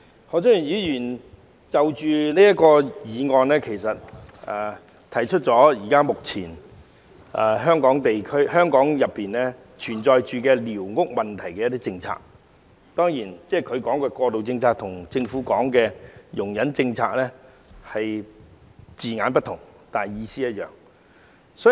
何俊賢議員在其項議案中指出香港寮屋政策現時存在的問題，雖然他所說的"過渡政策"跟政府說的"容忍政策"在字眼上有異，但意思相同。